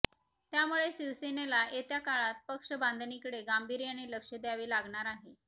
त्यामुळे शिवसेनेला येत्या काळात पक्षबांधणीकडे गांभीर्याने लक्ष द्यावे लागणार आहे